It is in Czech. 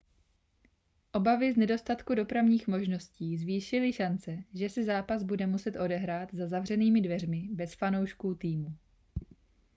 obavy z nedostatku dopravních možností zvýšily šance že se zápas bude muset odehrát za zavřenými dveřmi bez fanoušků týmu